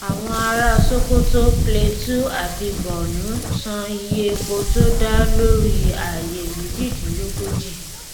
àwọn ará sokoto plateau àti borno san iye epo tó dá lórí ààyè méjìdínlógójì